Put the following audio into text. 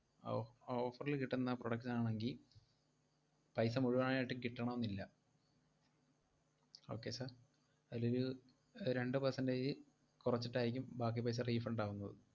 ഓ~ offer ല് കിട്ടുന്ന product ന് ആണെങ്കി paisa മുഴുവനായിട്ടും കിട്ടണമെന്നില്ല. Okay sir അയിലൊരു രണ്ടു percentage കൊറച്ചിട്ടായിരിക്കും ബാക്കി paisa refund ആവുന്നത്.